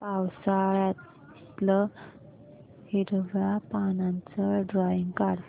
पावसाळ्यातलं हिरव्या पानाचं ड्रॉइंग काढ